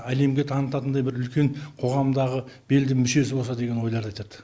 әлемге танытатындай бір үлкен қоғамдағы белді мүшесі болса деген ойларды айтады